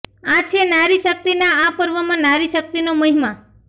આ છે નારી શક્તિના આ પર્વમાં નારી શક્તિનો મહિમા